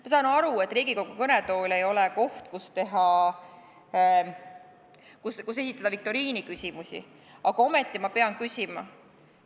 Ma saan aru, et Riigikogu kõnetool ei ole koht, kus esitada viktoriiniküsimusi, aga ometi ma pean küsima.